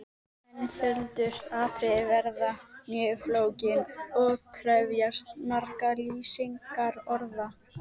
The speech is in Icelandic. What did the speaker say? Einföldustu atriði verða mjög flókin og krefjast margra lýsingarorða.